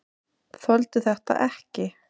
Þoldi þetta ekki!